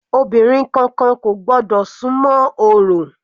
Obìnrin kankan kò gbọ́dọ̀ súnmọ́ orò.